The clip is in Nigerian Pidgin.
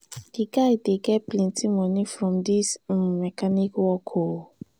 di guy dey get plenty moni from dis im mechanic work o.